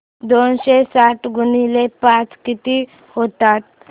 दोनशे साठ गुणिले पाच किती होतात